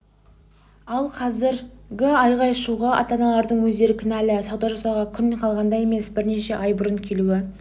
ал қазіргі айғай-шуға ата-аналардың өздері кінәлі сауда жасауға күн қалғанда емес бірнеше ай бұрын келуі